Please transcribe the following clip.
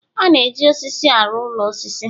a na-eji osisi arụ ụlọ osisi